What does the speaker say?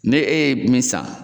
Ne e ye min san.